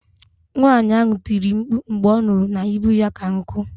Nwaanyi ahụ tiri mkpu mgbe ọ nụrụ na ibu ya ka nku